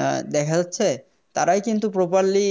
আহ দেখা যাচ্ছে তারাই কিন্তু Properlly